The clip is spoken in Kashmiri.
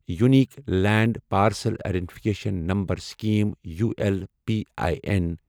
unique land parcel identification number scheme U L P I N